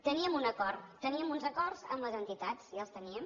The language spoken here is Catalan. teníem un acord teníem uns acords amb les entitats i els teníem